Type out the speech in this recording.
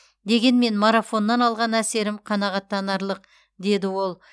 дегенмен марафоннан алған әсерім қанағаттанарлық деді ол